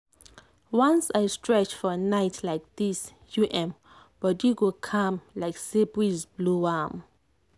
once i stretch for night like this um body go calm like say breeze blow am.